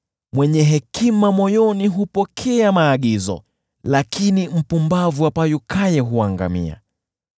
Mwenye hekima moyoni hupokea maagizo, lakini mpumbavu apayukaye huangamia.